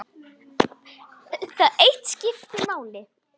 Ó, tauta ég óróleg.